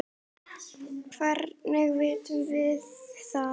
Hvernig vitum við það?